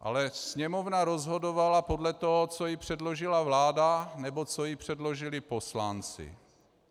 Ale Sněmovna rozhodovala podle toho, co jí předložila vláda nebo co jí předložili poslanci.